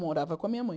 Morava com a minha mãe.